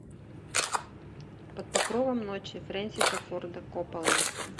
под покровом ночи фрэнсиса форда копполы